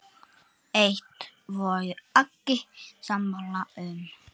Eitt voru allir sammála um.